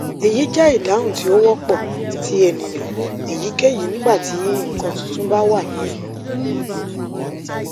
eyi jẹ idahun ti o wọpọ ti eniyan eyikeyi nigbati nkan tuntun ba wa ni ẹnu